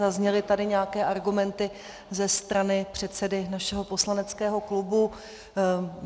Zazněly tady nějaké argumenty ze strany předsedy našeho poslaneckého klubu.